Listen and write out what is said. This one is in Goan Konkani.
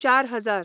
चार हजार